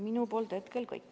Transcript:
Minu poolt hetkel kõik.